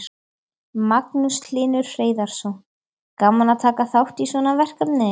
Magnús Hlynur Hreiðarsson: Gaman að taka þátt í svona verkefni?